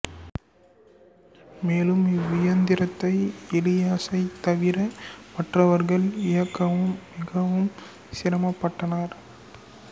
மேலும் இவ்வியந்திரத்தை எலியாசைத் தவிர மற்றவர்கள் இயக்கவும் மிகவும் சிரமப்பட்டனர்